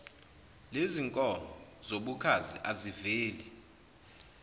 lezinkomo zobukhazi aziveli